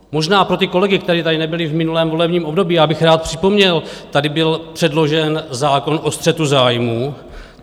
Možná pro ty kolegy, kteří tady nebyli v minulém volebním období, bych rád připomněl, tady byl předložen zákon o střetu zájmů.